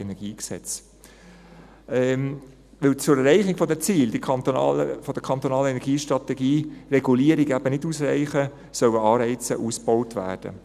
Weil zur Erreichung der Ziele der kantonalen Energiestrategie Regulierung eben nicht ausreichen wird, sollen Anreize ausgebaut werden.